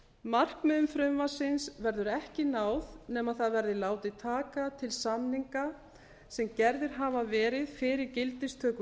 markmiðum frumvarpsins verður ekki náð nema það verði látið taka til samninga sem gerðir hafa verið fyrir gildistöku